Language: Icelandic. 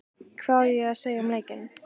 Hvað ég á að segja um leikinn?